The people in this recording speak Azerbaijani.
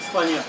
İspaniya.